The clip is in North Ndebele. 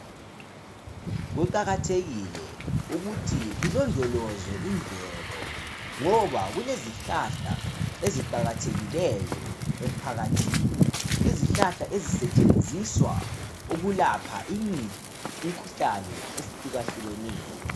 Kuqakathekile ukuthi kulondolozwe imvelo ngoba kulezihlahla eziqakathekileyo emphakathini izihlahla ezisetshenziswa ukulapha imkhuhlane ehlukahlukeneyo.